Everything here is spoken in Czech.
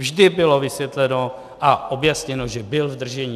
Vždy bylo vysvětleno a objasněno, že byl v držení.